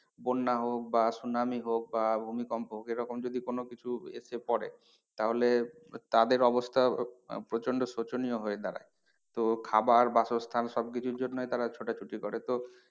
বন্যা হোক বা সুনামি হোক বা ভূমিকম্প হোক এরকম যদি কোনো কিছু এসে পরে তাহলে তাদের অবস্থা প্রচন্ড শোচনীয় হয়ে দাঁড়ায়। তো খাবার বাসস্থান সব কিছুর জন্যেই তারা ছোটাছুটি করে তো